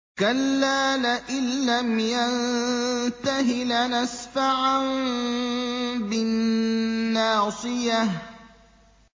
كَلَّا لَئِن لَّمْ يَنتَهِ لَنَسْفَعًا بِالنَّاصِيَةِ